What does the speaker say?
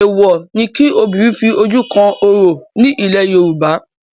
Èèwọ̀ ni kí obìnrin fi ojú kan orò ni ilẹ̀ Yorùbá.